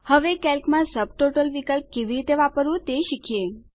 હવે કેલ્કમાં સબટોટલ વિકલ્પ કેવી રીતે વાપરવું તે શીખીએ